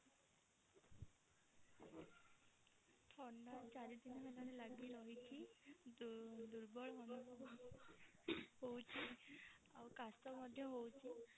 ଥଣ୍ଡା ଚାରି ଦିନ ହେଲାଣି ଲାଗି ରହିଛି ଦୁର୍ବଳ ଅନୁଭବ ହୋଉଛି ଆଉ କାସ ମଧ୍ୟ ହୋଉଛି।